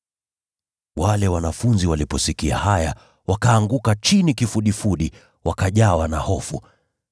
Wanafunzi waliposikia haya, wakaanguka chini kifudifudi, wakajawa na hofu.